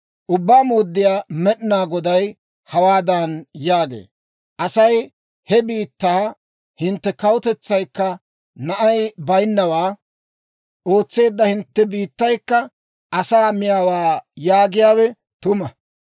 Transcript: « ‹Ubbaa Mooddiyaa Med'inaa Goday hawaadan yaagee; Asay he biittaa, hintte kawutetsaykka na'ay bayinnawaa ootseedda hintte biittaykka asaa miyaawaa yaagiyaawe tuma.